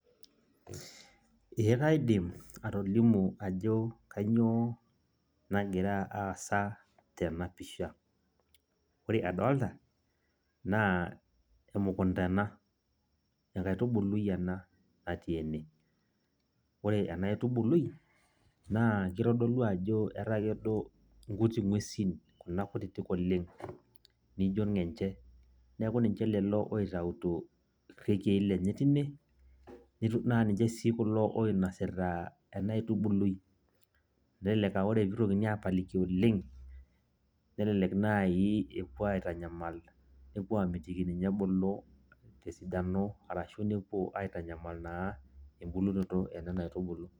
ee kaidim atolimu ajo kainyioo nagira aasa tena pisha. ore adooolta naa enkaitubului ena natiii ene. ore ena aitubului, naa kitodolu ajo etakedo inguesi kuna kutitik oleng neijo irngenche. neeku ninche lelo oitayituo irekiei lenye teine. naa ninche sii kulo oinosita ena aitubului. elelek aa ore pee eitokini aapaliki oleng. nelelek naaji epuo aitanyamal epuo aamitiki ninye ebulu tesiano arashu nepuo aitanyamal naa ebulunoto enena aitubulu.